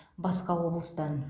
басқа облыстан